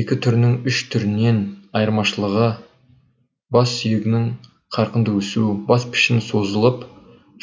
екі түрінің үш түрінен айырмашылығы бас сүйегінің қарқынды өсуі бас пішіні созылып